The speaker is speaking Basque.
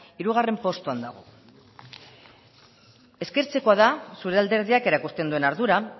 hirugarren postuan dago eskertzekoa da zure alderdiak erakusten duen ardura